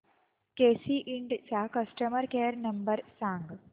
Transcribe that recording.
केसी इंड चा customer care number सांग